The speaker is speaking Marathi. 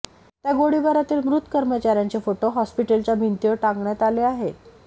त्या गोळीबारातील मृत कर्मचाऱ्यांचे फोटो हॉस्पिटलच्या भिंतीवर टांगण्यात आले आहेत